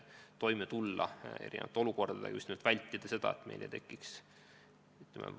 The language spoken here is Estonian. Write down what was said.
Peame teadma, kuidas neis suudetakse toime tulla erinevates olukordades.